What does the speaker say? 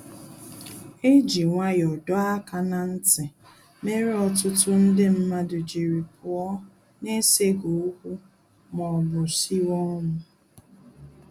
E ji nwayọ dọọ aka na nti, mere ọtụtụ ndị mmadụ jiri pụọ na eseghi okwu ma ọ bụ siwe ọnwụ